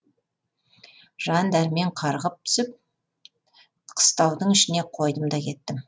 жан дәрмен қарғып түсіп қыстаудың ішіне қойдым да кеттім